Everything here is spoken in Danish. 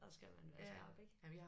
Der skal man være skarp ik